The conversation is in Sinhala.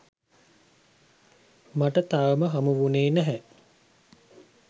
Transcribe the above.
මට තවම හමුවුණේ නැහැ.